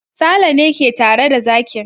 Sale ne ke tare da zakin.